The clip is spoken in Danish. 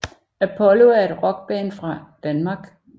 Apollo er et rockband fra Danmark